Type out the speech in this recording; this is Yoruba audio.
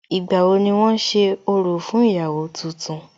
Ìgbà wo ni wón ṣe orò fún ìyàwó tuntun?